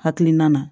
Hakilina na